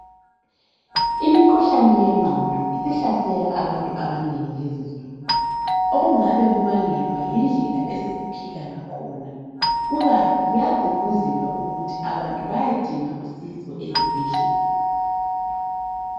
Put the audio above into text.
Imikhuhlane yengqondo isihlasela abantu abanengi lezinsuku. Okungabe kubangelwa yindlela esesiphila ngakhona kukanti kuyagqugquzelwa ukuthi abantu bayedinga usizo ezibhedlela.